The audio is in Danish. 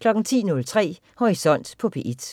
10.03 Horisont på P1